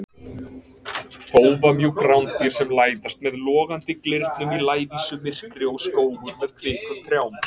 Þófamjúk rándýr sem læðast með logandi glyrnum í lævísu myrkri og skógur með kvikum trjám.